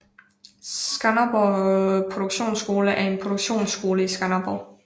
Skanderborg Produktionsskole er en produktionsskole i Skanderborg